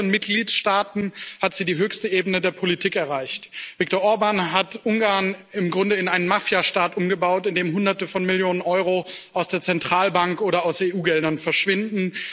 In mehreren Mitgliedstaaten hat sie die höchste Ebene der Politik erreicht. Viktor Orbán hat Ungarn im Grunde in einen Mafiastaat umgebaut, in dem Hunderte von Millionen Euro aus der Zentralbank oder aus EU Geldern verschwinden.